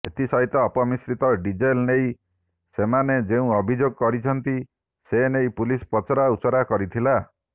ଏଥିସହିତ ଅପମିଶ୍ରିତ ଡିଜେଲ ନେଇ ସେମାନେ ଯେଉଁ ଅଭିଯୋଗ କରିଛନ୍ତି ସେନେଇ ପୁଲିସ ପଚରା ଉଚୁରା କରିଥିଲା